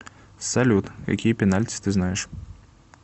салют какие пенальти ты знаешь